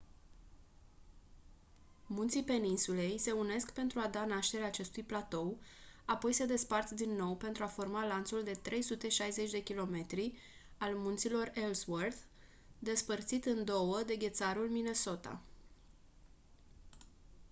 munții peninsulei se unesc pentru a da naștere acestui platou apoi se despart din nou pentru a forma lanțul de 360 km al munților ellsworth despărțit în două de ghețarul minnesota